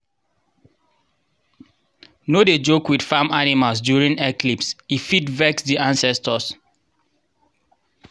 no dey joke with farm animals during eclipse—e fit vex the ancestors.